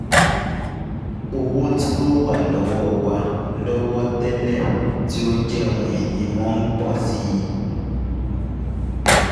Owo ti o wa lowo wa lowo tẹ́lẹ̀ tí ó jẹ́ ohun ìní wọn n po si i